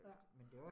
Ja